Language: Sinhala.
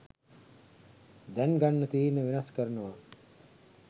දැන් ගන්න තීරණ වෙනස් කරනවා.